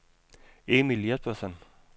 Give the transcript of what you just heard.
Emil Jespersen